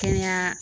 Kɛnɛya